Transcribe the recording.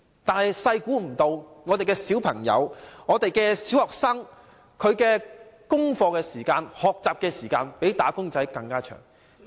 但是，我們沒料到上小學的小孩花在做功課和學習的時間比"打工仔"的工時還要長。